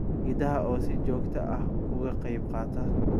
Idaha oo si joogta ah uga qayb qaata.